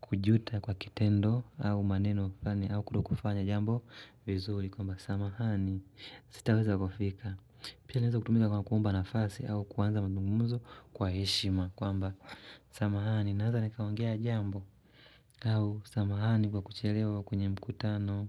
kujuta kwa kitendo au maneno fulani au kutokufanya jambo vizuri kwamba samahani, sitaweza kufika. Pia inaeza kutumika kwa kuomba nafasi au kuanza mazungumzo kwa heshima kwamba samahani naeza nikaongea jambo au samahani kwa kuchelewa kwenye mkutano.